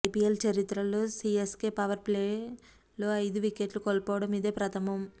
IPL చరిత్రలో CSK power ప్లేలో ఐదు వికెట్లు కోల్పోవడం ఇదే ప్రథమం